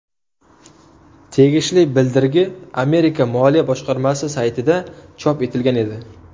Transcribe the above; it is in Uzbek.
Tegishli bildirgi Amerika moliya boshqarmasi saytida chop etilgan edi.